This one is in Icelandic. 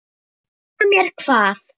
Segja mér hvað?